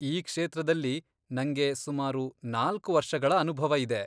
ಈ ಕ್ಷೇತ್ರದಲ್ಲಿ ನಂಗೆ ಸುಮಾರು ನಾಲ್ಕ್ ವರ್ಷಗಳ ಅನುಭವ ಇದೆ.